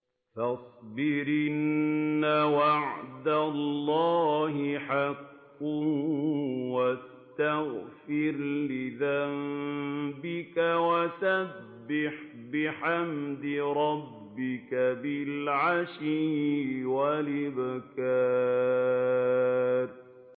فَاصْبِرْ إِنَّ وَعْدَ اللَّهِ حَقٌّ وَاسْتَغْفِرْ لِذَنبِكَ وَسَبِّحْ بِحَمْدِ رَبِّكَ بِالْعَشِيِّ وَالْإِبْكَارِ